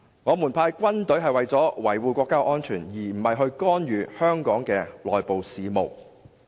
我們派軍隊是為了維護國家安全，而不是干預香港的內部事務。